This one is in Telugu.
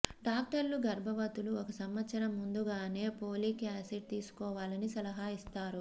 డాక్టర్లు గర్భవతులు ఒక సంవత్సరం ముందుగానే ఫోలిక్ యాసిడ్ తీసుకోవాలని సలహా ఇస్తారు